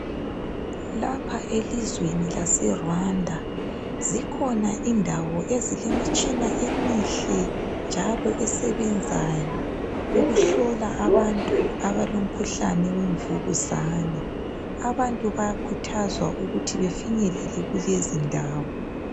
lapha elizweni lase Rwanda zikhona indawo ezilemitshina emihle njalo esebenzayo ukuhlola abantu abalomkhuhlane wemvukuzane abantu bayakhuthazwa ukuthi bafinyelele kulezi ndawo